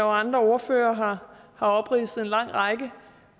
og andre ordførere har opridset en lang række